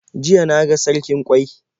Jiya na ga sarkin ƙwai.